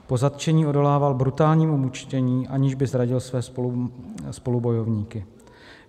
Po zatčení odolával brutálnímu mučení, aniž by zradil své spolubojovníky.